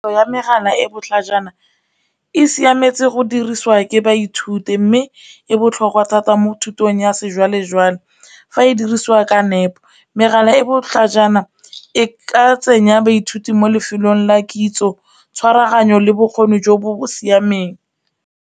Ya megala e e botlhajana e siametse go dirisiwa ke baithuti, mme e botlhokwa thata mo thutong ya sejwalejwale fa e dirisiwa ka nepo, megala e e botlhajana e ka tsenya baithuti mo lefelong la kitso tshwaraganyo le bokgoni jo bo siameng.